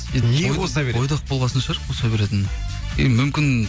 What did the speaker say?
неге қоса береді бойдақ болған соң шығар қоса беретіні енді мүмкін